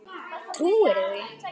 Trúirðu því?